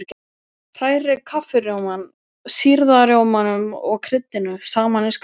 Hrærið kaffirjómanum, sýrða rjómanum og kryddinu saman í skál.